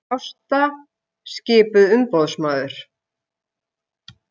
Ásta skipuð umboðsmaður